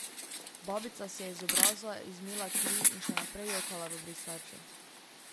Babica si je z obraza izmila kri in še naprej jokala v brisačo.